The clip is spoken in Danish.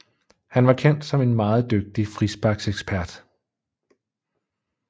Han var kendt som en meget dygtig frisparksekspert